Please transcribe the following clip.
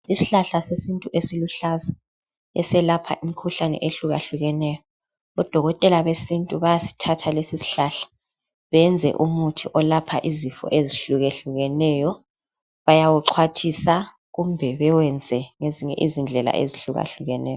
Ishlahla sesintu esiluhlaza eselapha imkhuhlane ehlukahlukeneyo, odokotela besintu bayasithatha lesisihlahla beyenza umuthi olapha izifo ezihlukahlukeneyo, bayawuxhwathisa kumbe bewenze ngendlela ezihlukahlukeneyo.